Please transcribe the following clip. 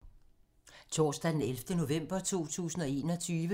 Torsdag d. 11. november 2021